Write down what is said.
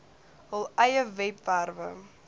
hul eie webwerwe